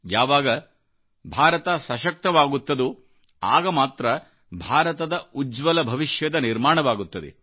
ಯಾವಾಗ ಭಾರತಸಶಕ್ತವಾಗುತ್ತದೋ ಆಗ ಮಾತ್ರ ಭಾರತದ ಉಜ್ವಲ ಭವಿಷ್ಯದ ನಿರ್ಮಾಣವಾಗುತ್ತದೆ